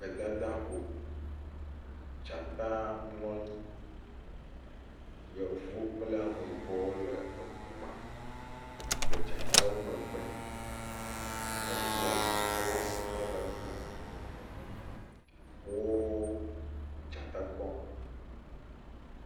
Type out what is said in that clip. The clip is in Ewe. Gbedada ƒo. Dzata mlɔ anyi. Yevuwo kple ameyibɔwo le eŋu me le dzatawo megbe. Eŋua glasi mele enu o. Wo dzata kpɔm.